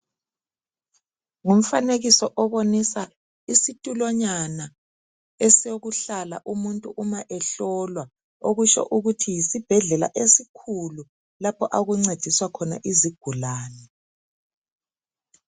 Ngumfanekiso obonisa isitulonyana esokuhlala umuntu uma ehlolwa okutsho ukuthi yisibhedlela esikhulu lapho okuncediswa khona izigulane.